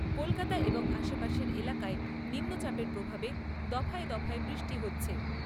কলকাতা এবং আশাপাশের এলাকায় নিম্নচাপের প্রভাবে দফায় দফায় বৃষ্টি হচ্ছে।